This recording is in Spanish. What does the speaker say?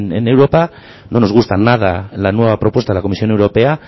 en europa no nos gusta nada la nueva propuesta de la comisión europea